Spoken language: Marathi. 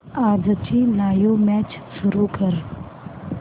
आजची लाइव्ह मॅच सुरू कर